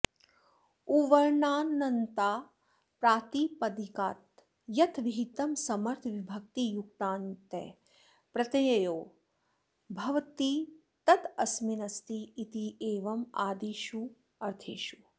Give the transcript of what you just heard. उवर्णान्तात् प्रातिपदिकात् यथविहितं समर्थविभक्तियुक्तातञ् प्रत्ययो भवति तदस्मिन्नस्ति इत्येवम् आदिष्वर्थेषु